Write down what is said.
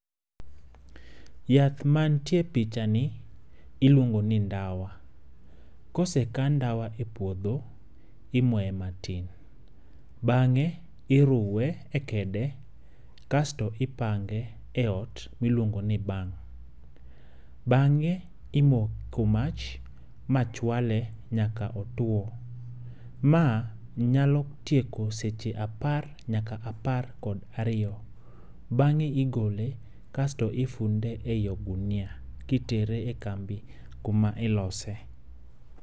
Yath mantie e picha ni iluongo ni ndawa. Kose kan ndawa e puodho imoye matin. Bang'e iruwe e kede kasto ipange e ot miluongo ni ban. Bang'e imoko mach ma chwale nyaka otwo. Ma nyalo tieko seche apar nyaka apar kod ariyo. Bang'e igole kasto ifunde eyi ogunia kitere e kambi kuma ilose.